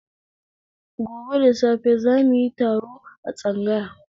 Gobe da safe zamuyi taro a tsangaya